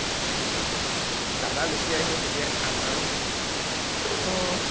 দাদা যেতিয়া আহিব তেতিয়া খাম আৰু, আহ